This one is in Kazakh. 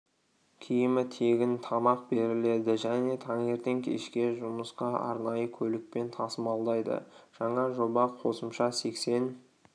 киімі тегін тамақ беріледі және таңертең кешке жұмысқа арнайы көлікпен тасымалдайды жаңа жоба қосымша сексен